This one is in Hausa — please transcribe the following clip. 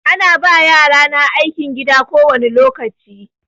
Ana ba yarana aikin gida kowani lokaci.